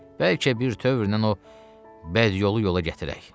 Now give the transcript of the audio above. Bəlkə bir tövrnən o bədyolu yola gətirək.